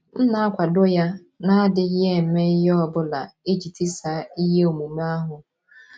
M̀ na - akwado ya, n’adịghị eme ihe ọ bụla iji tisaa ihe omume ahụ? ’